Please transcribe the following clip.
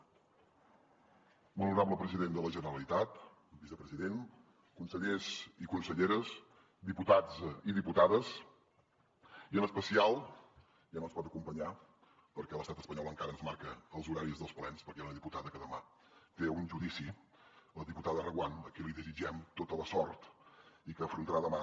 molt honorable president de la generalitat vicepresident consellers i conselleres diputats i diputades i en especial ja no ens pot acompanyar perquè l’estat espanyol encara ens marca els horaris dels plens perquè hi ha una diputada que demà té un judici la diputada reguant a qui li desitgem tota la sort i que afrontarà demà